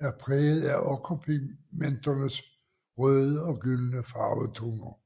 er prægede af okkerpigmenternes røde og gyldne farvetoner